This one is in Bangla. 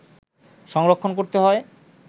সংরক্ষণ করতে হয়